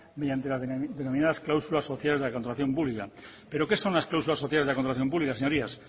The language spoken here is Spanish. mediante las denominadas cláusulas sociales de la contratación pública pero qué son las cláusulas sociales de la contratación pública señorías